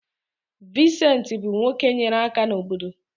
Vincent bụ nwoke nyere aka n’obodo.